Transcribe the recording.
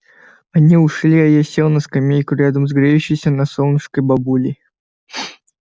они ушли а я сел на скамейку рядом с греющейся на солнышке бабулей